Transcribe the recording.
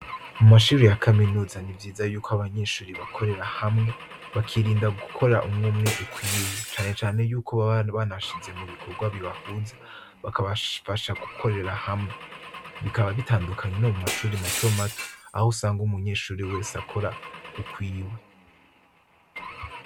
Mumashuri ya kaminuza ni vyiza ko abanyeshure bakorera hamwe bakirinda gukora umw' umwe ukwiwe, cane cane yuko baba banabashize mubikorwa bibahuza bakabasha gukorera hamwe, bikaba bitandukanye no mumashure mato mato ahusanga umunyeshure wese akora ukwiwe.